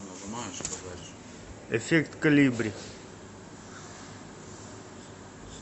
эффект колибри